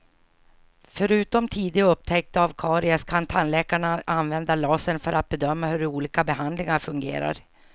Förutom tidig upptäckt av karies kan tandläkarna använda lasern för att bedöma hur olika behandlingar fungerar.